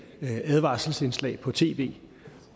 advarselsindslag på tv